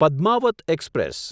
Padmaavat express